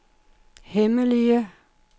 hemmelige